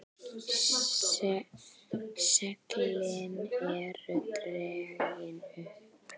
Seglin eru dregin upp.